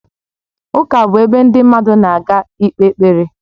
Ụka bụ ebe ndị mmadụ na-aga ikpe ekpere